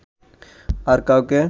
আর কাউকে